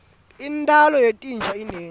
intalo yetinja inengi